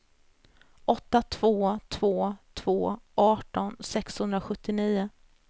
åtta två två två arton sexhundrasjuttionio